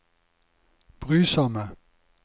brysomme